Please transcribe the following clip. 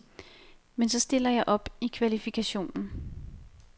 Men så stiller jeg op i kvalifikationen.